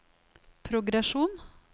progresjon